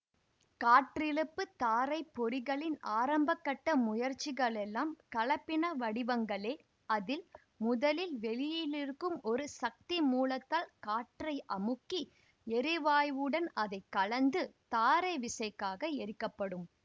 காற்றிழுப்பு தாரை பொறிகளின் ஆரம்பக்கட்ட முயற்சிகளெல்லாம் கலப்பினவடிவங்களே அதில் முதலில் வெளியிலிருக்கும் ஒரு சக்திமூலத்தால் காற்றை அமுக்கி எரிவாயுவுடன் அதை கலந்து தாரைவிசைக்காக எரிக்கப்படும்